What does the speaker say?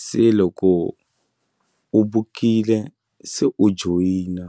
se loko u bukile se u joyina.